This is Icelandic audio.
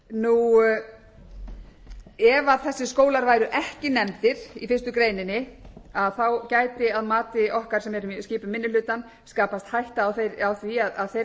umræðu um málið ef þessir skólar væru ekki nefndir í fyrstu grein gæti að mati okkar sem skipum minni hlutann skapast hætta á því að þeirra biðu þau örlög